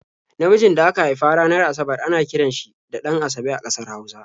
Namijin da aka haifa ranar Asabar ana kiran shi da 'Ɗan-asabe' a ƙasar Hausa.